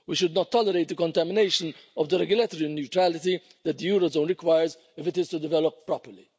We should not tolerate the contamination of the regulatory neutrality that the eurozone requires if it is to develop properly.